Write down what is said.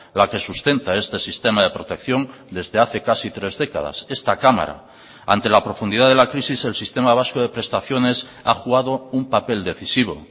la que sustenta este sistema de protección desde hace casi tres décadas esta cámara ante la profundidad de la crisis el sistema vasco de prestaciones ha jugado un papel decisivo